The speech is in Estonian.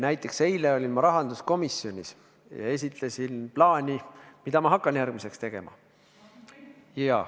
Näiteks eile olin ma rahanduskomisjonis ja esitlesin plaani, mida ma hakkan järgmiseks tegema.